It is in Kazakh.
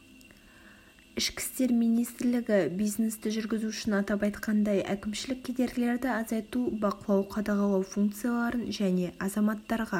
ішкі істер министрлігі бизнесті жүргізу үшін атап айтқандай әкімшілік кедергілерді азайту бақылау-қадағалау функцияларын және азаматтарға